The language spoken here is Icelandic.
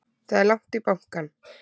Það er langt í bankann!